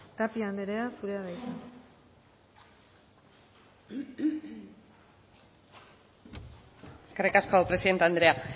tapia anderea zurea da hitza eskerrik asko presidente andrea